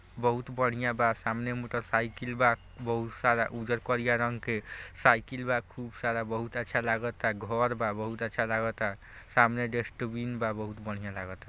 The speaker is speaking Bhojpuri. बहुत बढ़िया बा सामने मोटर साइकिल बा बहुत सारा उज्जर कारिया रंग के साइकिल बा खूब सारा बहुत अच्छा लगाता घर बा बहुत अच्छा लगाता सामने डस्टबिन बा बहुत बढ़िया लगाता।